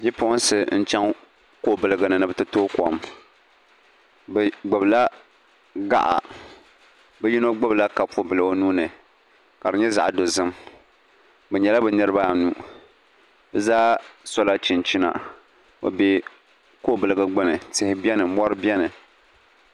Bipuɣinsi n-chaŋ kɔbiliga ni ni bɛ ti tooi kom bɛ gbubila gaɣa bɛ yino gbubila kopubila o nuu ni ka di nyɛ zaɣ'dozim bɛ nyɛla bɛ niriba anu bɛ zaa sola chinchina bɛ be kɔbiliga gbuni tihi beni mɔri beni.